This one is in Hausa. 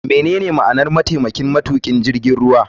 Menene ma'anar mataimakin matukin jirgin ruwa.